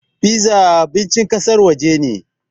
Piza abincin ƙasar waje ne.